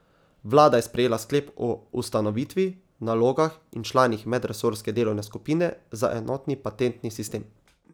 Vlada je sprejela sklep o ustanovitvi, nalogah in članih medresorske delovne skupine za enotni patentni sistem.